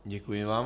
Děkuji vám.